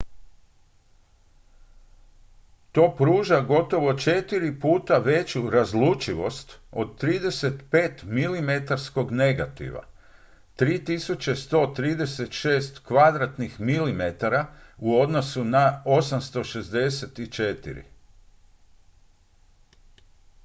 to pruža gotovo četiri puta veću razlučivost od 35-milimetarskog negativa 3136 mm2 u odnosu na 864